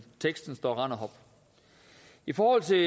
teksten står rend og hop i forhold til